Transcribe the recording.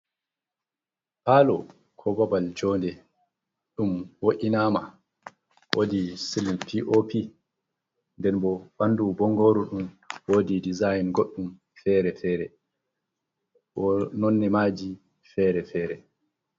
Paalo ko babal joonde, ɗum wo’inaama woodi cilim pii'opi, nden bo ɓanndu bonngooru ndun, woodi dizayin goɗɗum fere-fere, bo nonne maaji fere-fere.